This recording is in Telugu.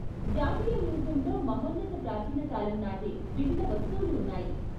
జాతీయ మ్యూజియంలో మహోన్నత ప్రాచీన కాలం నాటి వివిధ వస్తువులు ఉన్నాయి.